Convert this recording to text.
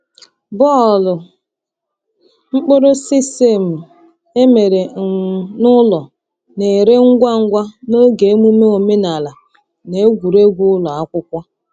Bọọlụ mkpụrụ sesame e mere um n’ụlọ na-ere ngwa ngwa n’oge emume omenala na egwuregwu ụlọ akwụkwọ.